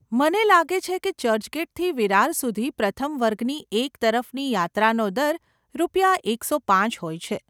મને લાગે છે કે ચર્ચગેટથી વિરાર સુધી પ્રથમ વર્ગની એક તરફની યાત્રાનો દર રૂપિયા એકસો પાંચ હોય છે.